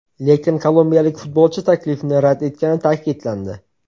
Lekin kolumbiyalik futbolchi taklifni rad etgani ta’kidlandi.